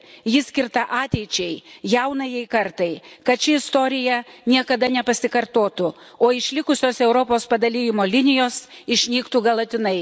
Ji skirta ateičiai, jaunajai kartai, kad ši istorija niekada nepasikartotų, o išlikusios Europos padalijimo linijos išnyktų galutinai.